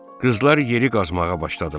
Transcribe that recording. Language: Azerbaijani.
Qızlar yeri qazmağa başladılar.